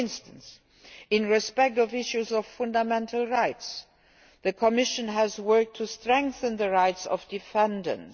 For instance, on the issues around fundamental rights, the Commission has worked to strengthen the rights of defendants.